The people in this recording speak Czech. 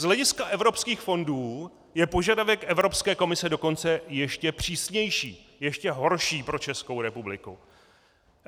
Z hlediska evropských fondů je požadavek Evropské komise dokonce ještě přísnější, ještě horší pro Českou republiku.